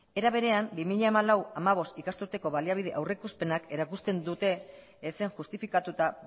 era berean bi mila hamalau bi mila hamabost ikasturteko aurrikuspenak erakusten dute ezen justifikatuta